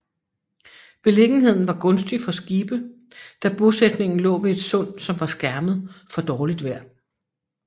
Beliggenheden var gunstig for skibe da bosætningen lå ved et sund som var skærmet for dårligt vejr